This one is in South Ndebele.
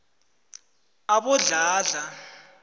abodladla